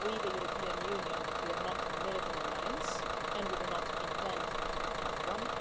we, the European Union, are not a military alliance, and we do not intend to become one.